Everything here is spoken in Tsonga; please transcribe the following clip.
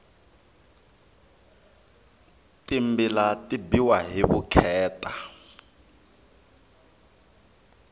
timbila ti biwa hi vukheta